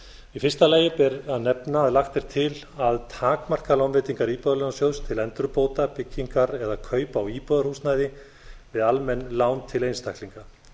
í fyrsta lagi ber að nefna að lagt er til að takmarka lánveitingar íbúðalánasjóðs til endurbóta byggingar eða kaupa á íbúðarhúsnæði við almenn lán til einstaklinga